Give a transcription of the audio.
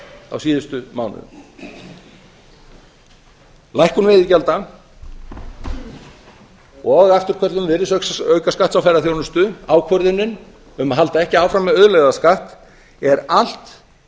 á síðustu mánuðum lækkun veiðigjalda og afturköllun virðisaukaskatts á ferðaþjónustu ákvörðunin um að halda ekki áfram með auðlegðarskatt eru allt